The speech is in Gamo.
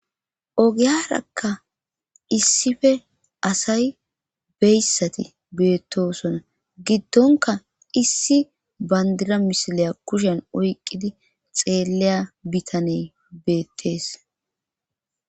ogiyarakka issife asay beyssati beettosona giddonka issi bandira misiliya kushen oyqqidi xeelleya bitaney beettees